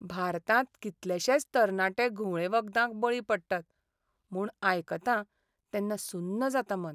भारतांत कितलेशेच तरणाटे घुंवळे वखदांक बळी पडटात म्हूण आयकतां तेन्ना सुन्न जाता मन.